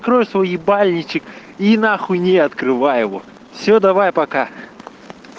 крой свой ебальничек и нахуй не открывай его все давай пока